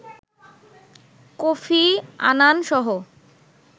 Kofi Annan সহ